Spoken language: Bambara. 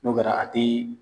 N'o kɛra a te